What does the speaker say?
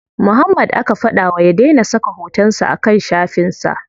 Muhammad aka fada ma ya dai na saka hoton sa a kan shafin sa.